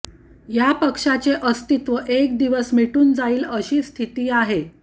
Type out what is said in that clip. या पक्षाचे अस्तित्व एक दिवस मिटून जाईल अशी स्थिती आहे